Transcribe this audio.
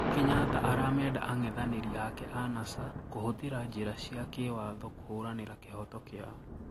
Kenyatta aramenda ang'ethaniri ake aa Nasa kuhuthira njira cia kiwatho kuhuranira kihoto kiao